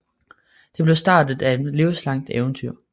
Det blev starten på et livslangt eventyr